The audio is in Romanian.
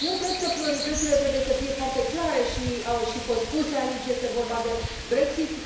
Eu cred că prioritățile trebuie să fie foarte clare și au și fost spuse aici, este vorba de Brexit.